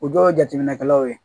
O dɔw ye jateminɛkɛlaw ye